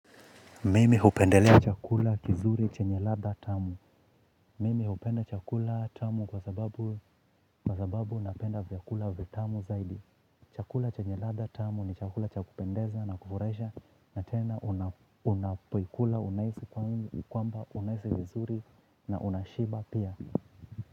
Mimi hupendelea chakula kizuri chenye ladha tamu. Mimi hupende chakula tamu kwa sababu napenda vyakula vitamu zaidi. Chakula chenye ladha tamu ni chakula cha kupendeza na kufurahisha na tena unapoikula unahisi kwamba unahisi vizuri na unashiba pia.